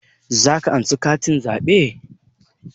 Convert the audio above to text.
Za ka ansa katin zaɓe?